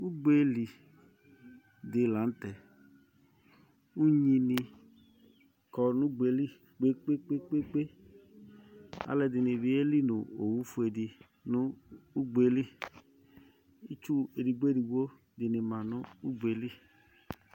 Ugbeli di la n'tɛ, k'unyini kɔ nu ugbeli kpekpekpé, aluɛdini bi yeli nu owu fuele di nu ugbe li, itsu edigbo edigbo dini ma nu ugbeli